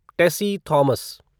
Tessy Thomas